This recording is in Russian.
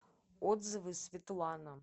отзывы светлана